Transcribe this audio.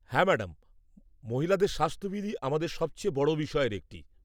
হ্যাঁ, ম্যাডাম, মহিলাদের স্বাস্থ্যবিধি আমাদের সবচেয়ে বড় বিষয়ের একটি।